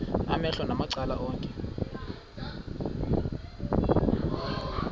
amehlo macala onke